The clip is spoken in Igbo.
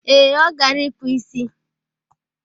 Ee, ọ gara ịkpụ isi.